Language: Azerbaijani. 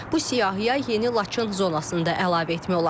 Bu siyahıya yeni Laçın zonasında əlavə etmək olar.